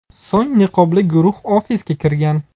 So‘ng niqobli guruh ofisga kirgan.